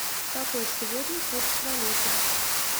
какой сегодня курс валюты